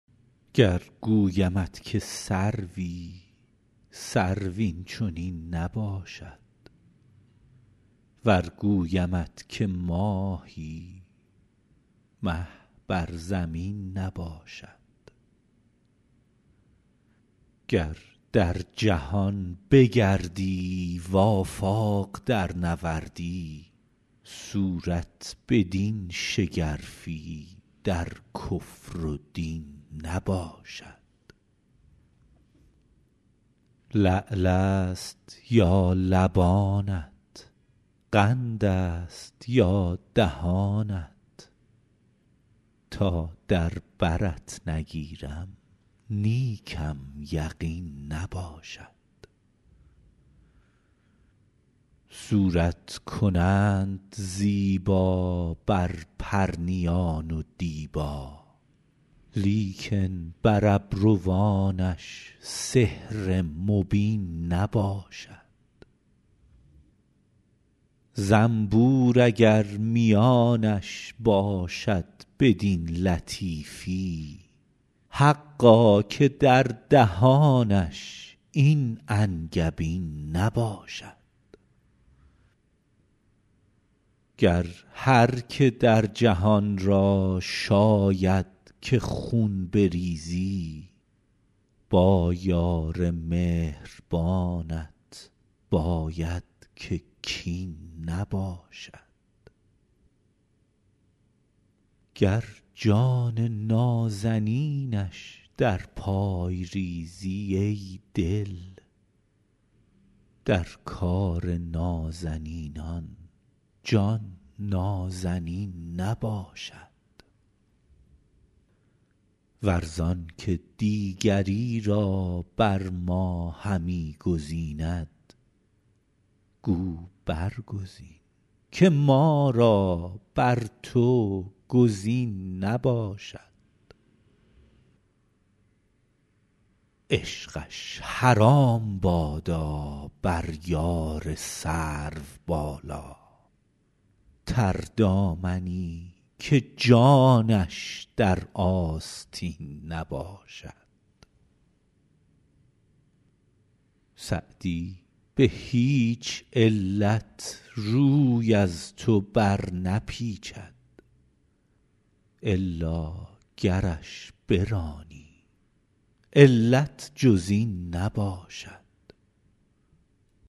گر گویمت که سروی سرو این چنین نباشد ور گویمت که ماهی مه بر زمین نباشد گر در جهان بگردی و آفاق درنوردی صورت بدین شگرفی در کفر و دین نباشد لعل است یا لبانت قند است یا دهانت تا در برت نگیرم نیکم یقین نباشد صورت کنند زیبا بر پرنیان و دیبا لیکن بر ابروانش سحر مبین نباشد زنبور اگر میانش باشد بدین لطیفی حقا که در دهانش این انگبین نباشد گر هر که در جهان را شاید که خون بریزی با یار مهربانت باید که کین نباشد گر جان نازنینش در پای ریزی ای دل در کار نازنینان جان نازنین نباشد ور زان که دیگری را بر ما همی گزیند گو برگزین که ما را بر تو گزین نباشد عشقش حرام بادا بر یار سروبالا تردامنی که جانش در آستین نباشد سعدی به هیچ علت روی از تو برنپیچد الا گرش برانی علت جز این نباشد